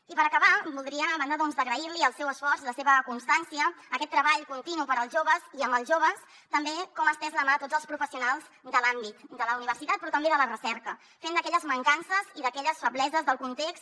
i per acabar voldria a banda doncs d’agrair li el seu esforç la seva constància aquest treball continu per als joves i amb els joves també agrair li com ha estès la mà a tots els professionals de l’àmbit de la universitat però també de la recerca fent d’aquelles mancances i d’aquelles febleses del context